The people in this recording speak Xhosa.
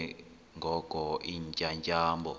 ke ngoko iintyatyambo